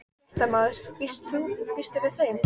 Kristján Már: En var hann skrafhreifinn?